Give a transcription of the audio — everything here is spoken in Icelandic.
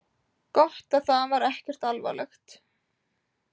Gott að það var ekkert alvarlegt.